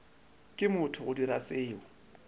ke motho go dira seo